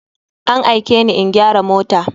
An aikeni in gyara mota.